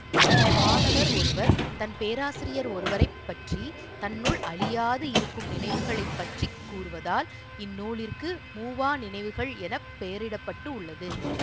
மாணவர் ஒருவர் தன் பேராசிரியர் ஒருவரை பற்றி தன்னுள் அழியாது இருக்கும் நினைவுகளை பற்றி கூறுவதால் இந்நூலிற்கு மூவா நினைவுகள் என பெயரிட்டப்பட்டு உள்ளது